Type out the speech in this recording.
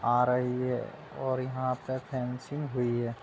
आ रही है और यहाँ पे फेंसिंग हुई है।